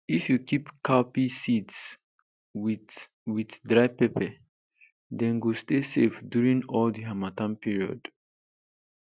if you keep cowpea seeds with with dry pepper dem go stay safe during all the harmattan period